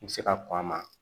I bɛ se ka kɔn a ma